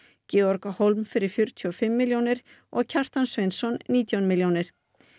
Georg fyrir fjörutíu og fimm milljónir og Kjartan Sveinsson nítján milljónir